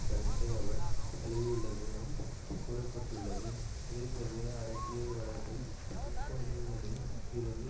கருத்தை அவர் தழுவியுள்ளதும் கூற பட்டுள்ளது இதைத்தவிர அரசியல் வலதில் துப்பாக்கிகளில் இருந்து